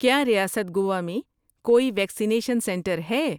کیا ریاست گوا میں کوئی ویکسینیشن سنٹر ہے؟